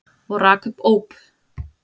Og rak upp óp.